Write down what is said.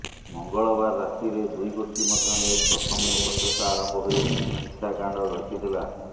ମଙ୍ଗଳବାର ରାତିରେ ଦୁଇ ଗୋଷ୍ଠୀ ମଧ୍ୟରେ ପ୍ରଥମେ ବଚସା ଆରମ୍ଭ ହୋଇ ହିଂସାକାଣ୍ଡ ଘଟିଥିଲା